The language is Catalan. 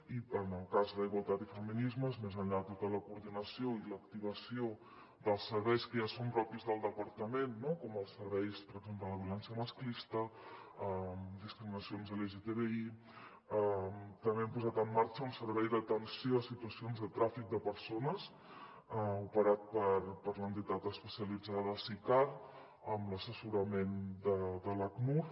i en el cas d’igualtat i feminismes més enllà de tota la coordinació i l’activació dels serveis que ja són propis del departament com els serveis per exemple de violència masclista discriminacions lgtbi també hem posat en marxa un servei d’atenció a situacions de tràfic de persones operat per l’entitat especialitzada sicar amb l’assessorament de l’acnur